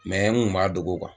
n kun m'a dogo